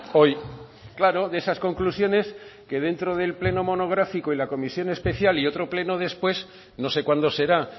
hoy claro de esas conclusiones que dentro del pleno monográfico y la comisión especial y otro pleno después no sé cuándo será